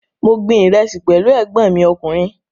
Mo gbin ìrẹsì pẹ̀lú ẹ̀gbọ́n mi ọkùnrin